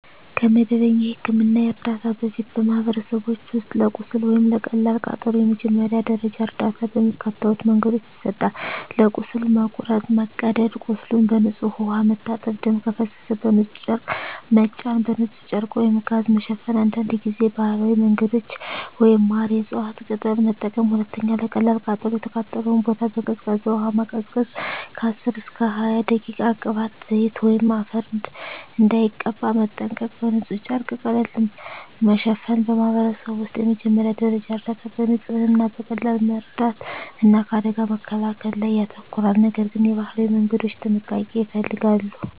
ከመደበኛ የሕክምና እርዳታ በፊት፣ በማኅበረሰቦች ውስጥ ለቁስል ወይም ለቀላል ቃጠሎ የመጀመሪያ ደረጃ እርዳታ በሚከተሉት መንገዶች ይሰጣል፦ ለቁስል (መቁረጥ፣ መቀደድ) ቁስሉን በንጹሕ ውሃ መታጠብ ደም ከፈሰሰ በንጹሕ ጨርቅ መጫን በንጹሕ ጨርቅ/ጋዝ መሸፈን አንዳንድ ጊዜ ባህላዊ መንገዶች (ማር፣ የእፅዋት ቅጠል) መጠቀም 2. ለቀላል ቃጠሎ የተቃጠለውን ቦታ በቀዝቃዛ ውሃ ማቀዝቀዝ (10–20 ደቂቃ) ቅባት፣ ዘይት ወይም አፈር እንዳይቀባ መጠንቀቅ በንጹሕ ጨርቅ ቀለል ማሸፈን በማኅበረሰብ ውስጥ የመጀመሪያ ደረጃ እርዳታ በንጽህና፣ በቀላል መርዳት እና ከአደጋ መከላከል ላይ ያተኮራል፤ ነገር ግን የባህላዊ መንገዶች ጥንቃቄ ይፈልጋሉ።